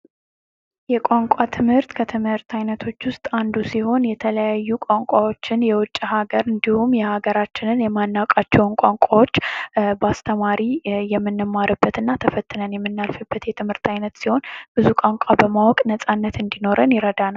የቋንቋ ትምህርት ከትምህርት አይነቶች ውስጥ አንዱ ሲሆን የተለያዩ ቋንቋዎችን የውጭ ሀገር እንድሁም የሀገራችንን የማናውቃቸውን ቋንቋዎች በአስተማሪ የምንማርበትና ተፈትነን የምናልፍበት የትምህርት አይነት ሲሆን ብዙ ቋንቋ ለማወቅ ነጻነት እንዲኖረን ይረዳናል።